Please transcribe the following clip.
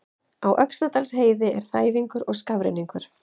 Á Öxnadalsheiði er þæfingur og skafrenningur